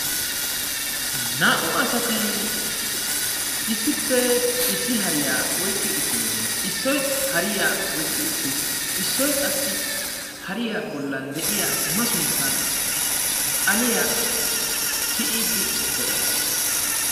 Naa'u asati issippe issi hariya oykki uttidosona. Issoyi hariya oykki uttis Issoyi qassi hariya bollan de'iya masunttan xaliya tiyiiddi de'es.